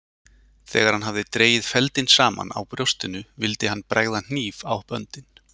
Þegar hann hafði dregið feldinn saman á brjóstinu vildi hann bregða hníf á böndin.